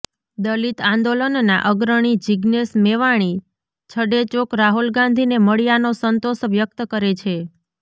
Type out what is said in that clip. દલિત આંદોલનના અગ્રણી જિજ્ઞેશ મેવાણી છડેચોક રાહુલ ગાંધીને મળ્યાનો સંતોષ વ્યક્ત કરે છે